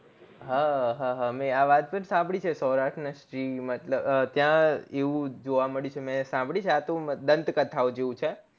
હા હા મેં આ વાત પણ સાંભળી છે સૌરાષ્ટ્ર ને સિંહ મતલબ ત્યાં એવું જોવા મળ્યું છે મેં સાંભળી છે આ તો અમ દ્ન્ત કથાઓ જેવું છે